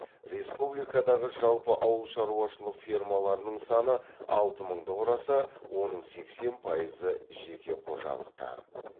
республикадағы жалпы ауыл шаруашылық фермаларының саны алты мыңды құраса оның сексен пайызы жеке қожалықтар